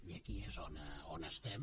i aquí és on estem